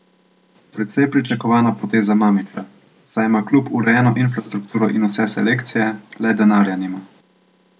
Precej pričakovana poteza Mamića, saj ima klub urejeno infrastrukturo in vse selekcije, le denarja nima.